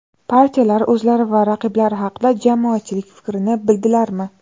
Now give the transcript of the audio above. Partiyalar o‘zlari va raqiblari haqida jamoatchilik fikrini biladilarmi?